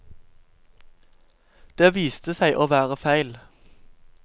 Det viste seg å være feil.